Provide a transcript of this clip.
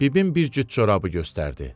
Bibim bir cüt corabı göstərdi.